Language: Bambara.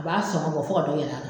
U b'a sɔgɔn bɔ fo ka dɔ yɛlɛ a